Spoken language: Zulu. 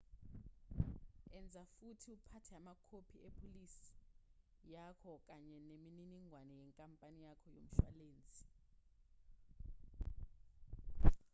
enza futhi uphathe amakhophi epholisi yakho kanye neminingwane yenkampani yakho yomshwalensi